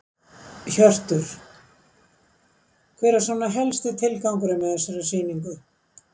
Hjörtur: Hver er svona helsti tilgangurinn með þessari sýningu?